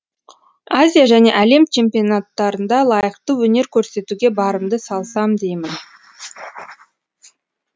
азия және әлем чемпионаттарында лайықты өнер көрсетуге барымды салсам деймін